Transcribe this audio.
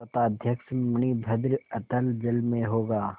पोताध्यक्ष मणिभद्र अतल जल में होगा